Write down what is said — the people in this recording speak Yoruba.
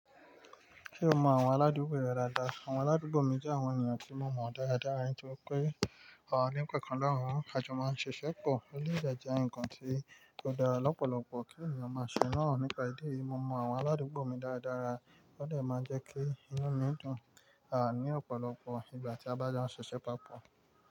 Ṣé o mọ àwọn aládùúgbò rẹ dáadáa? Àwọn aládùúgbò mi jẹ́ àwọn ènìyàn tí mo mọ dáradára nítorí pé àwọn ọ̀rẹ́ mi kọ̀ọ̀kan lohun ka jo máa ń ṣiṣẹ́ pọ̀. Eleyii dẹ́ ń jẹ́ ǹkan tí ò dára lọ́pọ̀lọpọ̀ kí ènìyàn máa ṣe náà. Nípa ìdí èyí, mo mọ àwọn aládùúgbò mi dáradára. Ó dè máa jẹ́ kí inú mi dùn há ní ọ̀pọ̀lọpọ̀ ìgbà tí a bá jo ń ṣiṣẹ́ papọ̀.